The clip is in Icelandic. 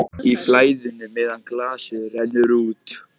Í flæðinu meðan glasið rennur út